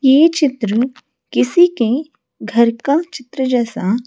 ये चित्र किसी के घर का चित्र जैसा--